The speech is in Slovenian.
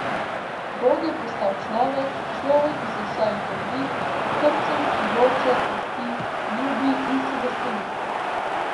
Bog je postal človek, človek iz mesa in krvi, s srcem, ki joče, trpi, ljubi in se veseli.